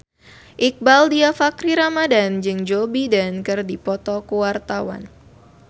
Iqbaal Dhiafakhri Ramadhan jeung Joe Biden keur dipoto ku wartawan